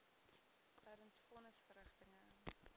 tydens von nisverrigtinge